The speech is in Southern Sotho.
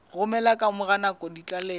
romela ka mora nako ditlaleho